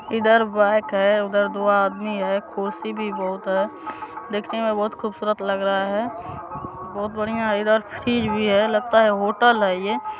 इधर बाइक है उधर दो आदमी है खुर्सी भी बहुत है देखने मे बहुत खूबसूरत लग रहा है बहुत बढ़िया इधर चीज भी है लगता है होटल है ये-- ।